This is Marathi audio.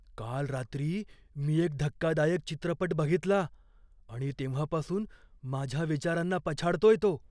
काल रात्री मी एक धक्कादायक चित्रपट बघितला, आणि तेव्हापासून माझ्या विचारांना पछाडतोय तो.